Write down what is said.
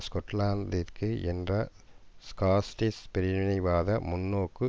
ஸ்கொட்லாந்திற்காக என்ற ஸ்காட்டிஷ் பிரிவினைவாத முன்னோக்கு